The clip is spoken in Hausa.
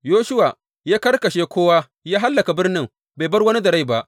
Yoshuwa ya karkashe kowa ya hallaka birnin, bai bar wani da rai ba.